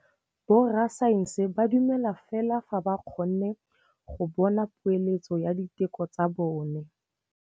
Borra saense ba dumela fela fa ba kgonne go bona poeletsô ya diteko tsa bone.